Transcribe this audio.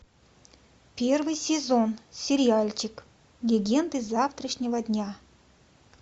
первый сезон сериальчик легенды завтрашнего дня